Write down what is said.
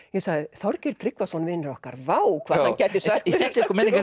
Þorgeir Tryggvason vinur okkar vá hvað hann gæti sökkt sér